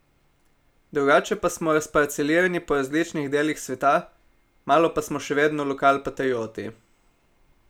Drugače pa smo razparcelirani po različnih delih sveta, malo pa smo še vedno lokal patrioti.